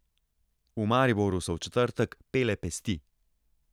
V Mariboru so v četrtek pele pesti.